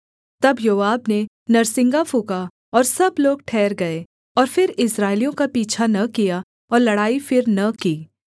तब योआब ने नरसिंगा फूँका और सब लोग ठहर गए और फिर इस्राएलियों का पीछा न किया और लड़ाई फिर न की